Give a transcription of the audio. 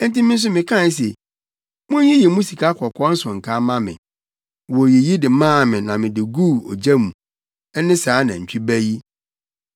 Enti me nso mekae se, ‘Munyiyi mo sikakɔkɔɔ nsonkaa mma me.’ Woyiyi de maa me na mede guu gya mu. Ɛne saa nantwi ba no!”